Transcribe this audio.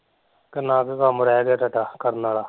ਕਿੰਨਾ ਕੁ ਕੰਮ ਰੇਹ ਗਿਆ ਤੁਹਾਡਾ ਕਰਨ ਆਲਾ